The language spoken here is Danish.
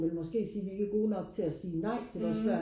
ville måske sige vi ikke er gode nok til og sige nej til vores børn